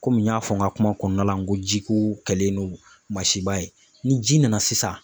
Komi n y'a fɔ n ka kuma kɔnɔna la n ko jiko kɛlen no masiba ye ni ji nana sisan